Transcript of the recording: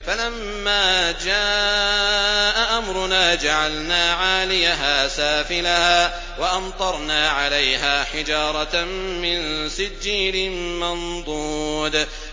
فَلَمَّا جَاءَ أَمْرُنَا جَعَلْنَا عَالِيَهَا سَافِلَهَا وَأَمْطَرْنَا عَلَيْهَا حِجَارَةً مِّن سِجِّيلٍ مَّنضُودٍ